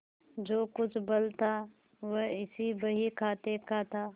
जो कुछ बल था वह इसी बहीखाते का था